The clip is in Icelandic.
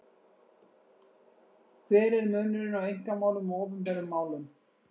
Hver er munurinn á einkamálum og opinberum málum?